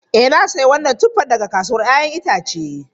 Ee na sayi wannan tuffan daga kasuwar 'ya'yan itace.